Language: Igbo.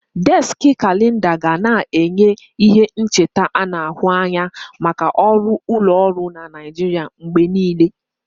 Déski Kalenda ga na-enye ihe ncheta ana ahu anya maka ọrụ ụlọọrụ na Naijiria mgbe niile.